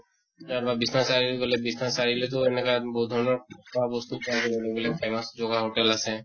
তা বা বিশ্বনাথ চাৰিআলিত গʼলে বিশ্বনাথ চাৰিআলিতো এনেকা বহুত ধৰণৰ খোৱা বস্তু পোৱা যায় famous জগা hotel আছে